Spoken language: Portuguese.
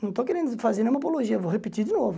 Não estou querendo fazer nenhuma apologia, vou repetir de novo.